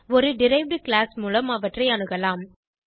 ஒரு derived class மூலம் அவற்றை அணுகலாம்